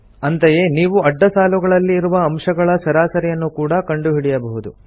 ಅಂತೆಯೇ ನೀವು ಅಡ್ಡ ಸಾಲುಗಳಲ್ಲಿ ಇರುವ ಅಂಶಗಳ ಸರಾಸರಿಯನ್ನು ಕೂಡ ಕಂಡುಹಿಡಿಯಬಹುದು